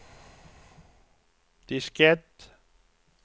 diskett